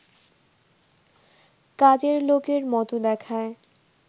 কাজের লোকের মতো দেখায়